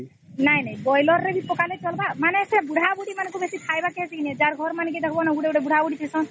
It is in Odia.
ନାଇଁ ନାଇଁ ବରଏଲର ରେ କିଛି ପକା ନାଇଁ ପଡିବ ମାନେ ସେ ବୁଢା ବୁଢ଼ୀ ମାଙ୍କୁ ଵେବସି ଖାଇବର କେସି ନାଇଁ ଯାହାର ଘର ବାରେ ଦେଖିବା ଗୋଟେ ଗୋଟେ ବୁଢା ବୁଧୁ ଥିସ ନ